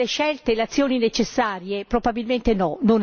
Stiamo facendo tutte le scelte e le azioni necessarie?